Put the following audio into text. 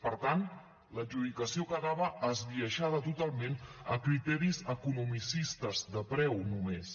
per tant l’adjudicació quedava esbiaixada totalment a criteris economicistes de preu només